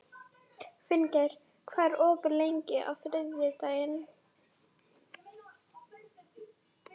Finngeir, hvað er opið lengi á þriðjudaginn?